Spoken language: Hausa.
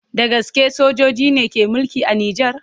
Da gaske sojoji ne suke mulki a Nijar?